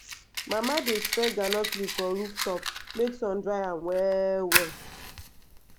mama dey spread groundnut leaf for roof top make sun dry am well well.